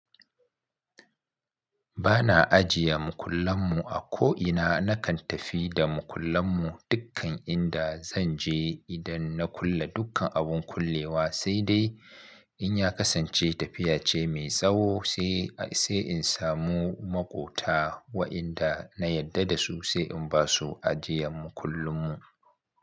Ba na ajiye makullan mu a ko'ina, na kan tafi da makullan mu dukkan inda zan je idan na kulle dukkan abun kullewa, sai dai in ya kasance tafiya ce mai tsawo sai insamu makota wainda na yadda da su sai inbasu ajiyan makullin mu.